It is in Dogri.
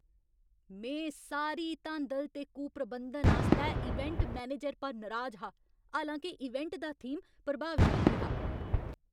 में सारी धांदल ते कुप्रबंधन आस्तै इवेंट मैनेजर पर नराज हा, हालां के इवेंट दा थीम प्रभावशाली हा।